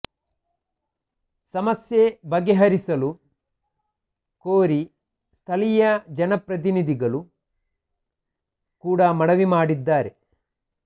ಸಮಸ್ಯೆ ಬಗೆಹರಿಸಲು ಕೋರಿ ಸ್ಥಳೀಯ ಜನಪ್ರತಿನಿಧಿಗಳು ಕೂಡ ಮನವಿ ಮಾಡಿದ್ದಾರೆ